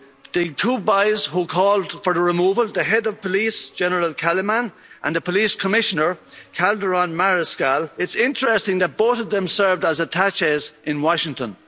The two boys who called for the removal the head of police, General Kaliman, and the Police Commissioner, Calderón Mariscal it's interesting that both of them served as attachés in Washington.